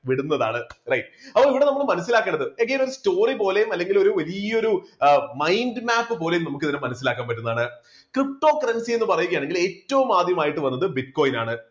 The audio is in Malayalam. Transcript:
വിടുന്നതാണ്. right അപ്പോൾ ഇവിടെ നമ്മൾ മനസ്സിലാക്കേണ്ടത് again ഒരു story പോലെ അല്ലെങ്കിൽ വലിയൊരു mind map പോലെയും നമുക്ക് ഇതിനെ മനസ്സിലാക്കാൻ പറ്റുന്നതാണ്. ptocurrency എന്ന് പറയുകയാണെങ്കിൽ ഏറ്റവും ആദ്യമായിട്ട് വന്നത് bitcoin ആണ്.